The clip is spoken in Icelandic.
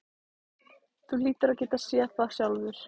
Þú hlýtur að geta séð það sjálfur.